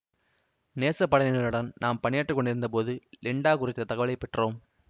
நேசப்படையினருடன் நாம் பணியாற்றி கொண்டிருந்த போது லிண்டா குறித்த தகவலைப் பெற்றோம்